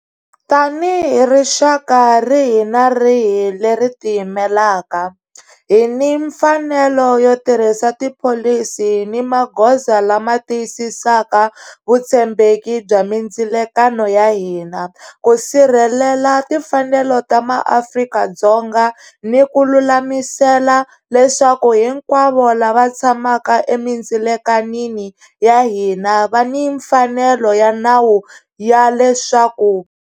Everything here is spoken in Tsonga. Tanihi rixaka rihi ni rihi leri tiyimelaka, hi ni mfanelo yo tirhisa tipholisi ni magoza lama tiyisisaka vutshembeki bya mindzilekano ya hina, ku sirhelela timfanelo ta maAfrika-Dzonga ni ku lulamisela leswaku hinkwavo lava tshamaka emindzilekanini ya hina va ni mfanelo ya nawu ya leswaku.